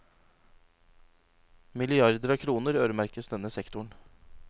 Milliarder av kroner øremerkes denne sektoren.